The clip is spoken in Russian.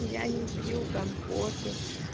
и я не пью компоты